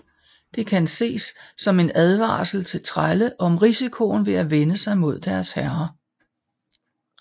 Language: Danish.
Det kan ses som en advarsel til trælle om risikoen ved at vende sig mod deres herrer